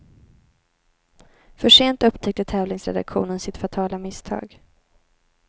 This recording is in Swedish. För sent upptäckte tävlingsredaktionen sitt fatala misstag.